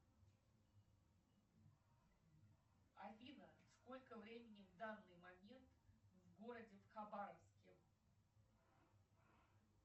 афина сколько времени в данный момент в городе хабаровске